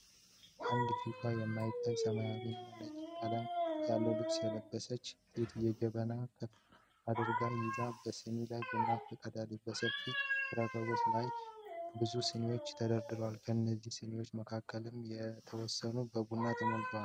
አንድ ፊቷ የማይታይ ሰማያዊ እና ነጭ ቀለም ያለው ልብስ የለበሰች ሴት ጀበና ከፍ አድርጋ ይዛ በሲኒ ላይ ቡና ትቀዳለች። በሰፊ ረከቦት ላይም ብዙ ሲኒዎች ተደርድረዋል። ከነዚህ ሲኒዎች መካከልም የተወሰኑት በቡና ተሞልተዋል።